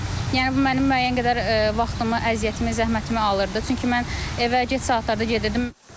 Yəni bu mənim müəyyən qədər vaxtımı, əziyyətimi, zəhmətimi alırdı, çünki mən evə gec saatlarda gedirdim.